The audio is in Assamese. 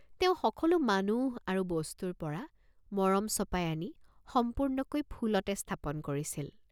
তেওঁ সকলো মানুহ আৰু বস্তুৰপৰা মৰম চপাই আনি সম্পূৰ্ণকৈ ফুলতে স্থাপন কৰিছিল।